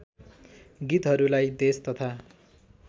गीतहरूलाई देश तथा